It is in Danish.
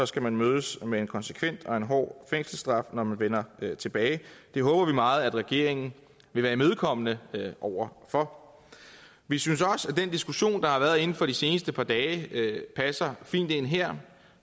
skal man mødes med en konsekvent og hård fængselsstraf når man vender tilbage det håber vi meget at regeringen vil være imødekommende over for vi synes også at den diskussion der har været inden for de seneste par dage passer fint ind her